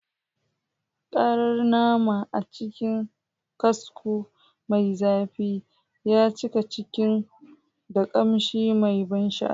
Karar nama a cikin kasko mai zafi ya cika kicin da kamshi mai ban sha'awa.